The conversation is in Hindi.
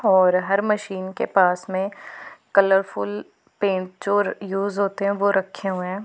और हर मशीन के पास में कलरफुल पेंट जो यूज होते हैं वो रखे हुए हैं।